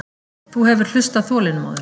Þú hefur hlustað þolinmóður.